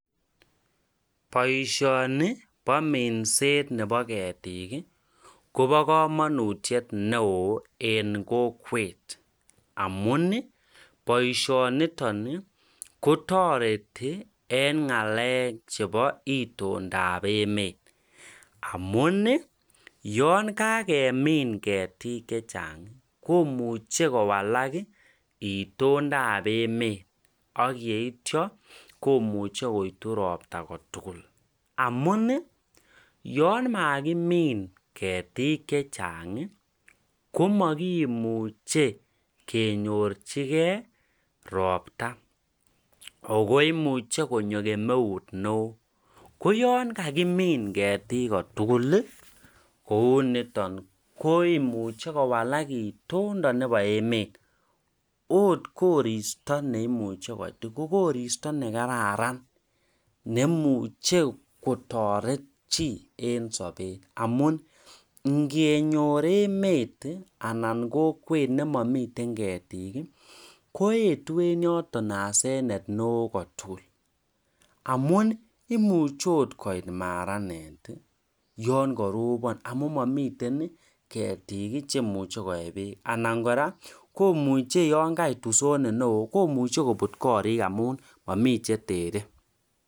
boishoni bo minset nebo ketiik iih kobokomonutyet neoo en kokwet amuun iih boishoniton iih kotoreti en ngalek chebo itondoab emmet, amun iih yaan kagemiin ketik chechang komuche kowalak iih itondoab emet ak yeityo koitu ropta kotugul, amun iih yan magimin ketiik chewchang, komagimuche kenyorchigee ropta ago imuche konyo kemeut neoo ko yaan kagimiin ketik kotugul iih kouu noton komuche kowalaka itindo nebo emet, oot koristo neimuche kogoristo negararn neimuche kotoret chi en sobet amun ngenyoor emet anan kokwet nemomiten ketiik iih, koetu en yoton asenet neoo kot mising amuun imuche oot koit maranet iiih yan karobon amuun momiten iiih ketiik iih cheimuche koee beek anan kora komuche yaan kait usonet neoo komuche kobuut koriik amuun momii chetere